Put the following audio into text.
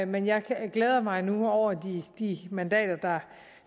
men jeg glæder mig nu over de mandater